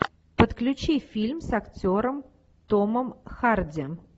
подключи фильм с актером томом харди